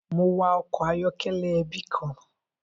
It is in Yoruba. Mo wa ọkọ ayọkẹlẹ ẹbi kan.